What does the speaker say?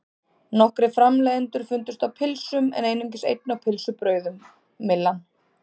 Nokkrir framleiðendur fundust á pylsum en einungis einn á pylsubrauðum, Myllan.